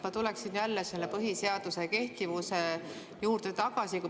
Ma tuleksin jälle põhiseaduse kehtivuse juurde tagasi.